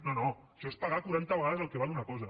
no no això és pagar quaranta vegades el que val una cosa